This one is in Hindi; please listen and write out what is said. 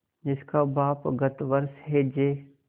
जिसका बाप गत वर्ष हैजे